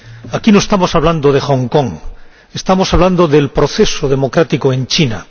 Aquí no estamos hablando de Hong Kong estamos hablando del proceso democrático en China.